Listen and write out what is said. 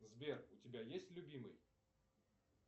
сбер у тебя есть любимый